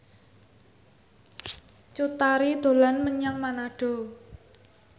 Cut Tari dolan menyang Manado